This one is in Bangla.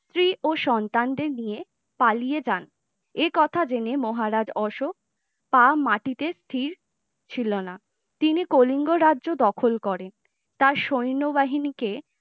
স্ত্রী ও সন্তানদের নিয়ে পালিয়ে যান একথা জেনে মহারাজ অশোক পা মাটিতে স্থির ছিলনা । তিনি কলিঙ্গ রাজ্য দখল করেন তার সৈন্যবাহিনী কে